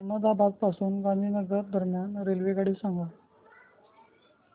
अहमदाबाद पासून गांधीनगर दरम्यान रेल्वेगाडी सांगा